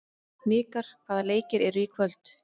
Hnikar, hvaða leikir eru í kvöld?